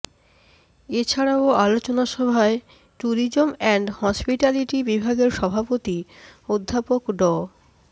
এছাড়াও আলোচনা সভায় টুরিজম অ্যান্ড হসপিটালিটি বিভাগের সভাপতি অধ্যাপক ড